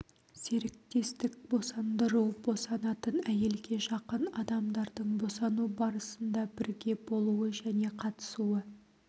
серіктестік босандыру босанатын әйелге жақын адамдардың босану барысында бірге болуы және қатысуы